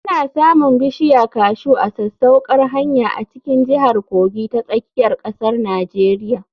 Ana samun bishiya kashu ta sasaukar hanya a cikin jihar Kogi ta tsakiyar ƙasar Nijeriya.